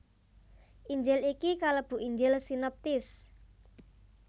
Injil iki kalebu Injil sinoptis